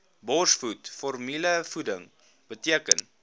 borsvoed formulevoeding beteken